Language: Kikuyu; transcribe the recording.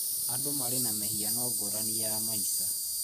Andũ marĩ na mĩhiano ngũrani ya maica.